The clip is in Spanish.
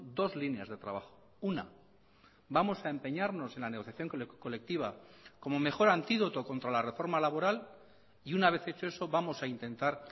dos líneas de trabajo una vamos a empeñarnos en la negociación colectiva como mejor antídoto contra la reforma laboral y una vez hecho eso vamos a intentar